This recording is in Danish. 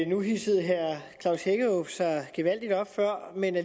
nu hidsede herre klaus hækkerup sig gevaldigt op før men